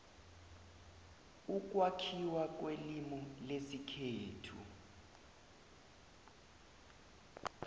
ukwakhiwa kwelimu lesikhethu